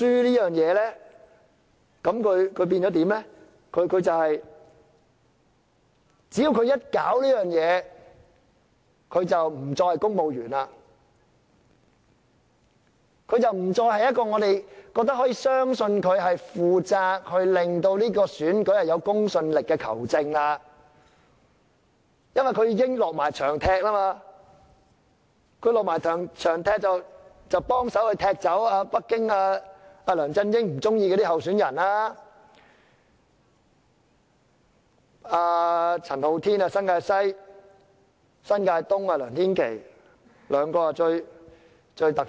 就確認書來說，只要他做了這事情，他便不再是公務員，不再是一位我們相信他是負責令這選舉有公信力的球證，因為他已經落場踢波，幫忙踢走北京和梁振英不喜歡的候選人，包括新界西的陳浩天、新界東的梁天琦，這兩人最突出。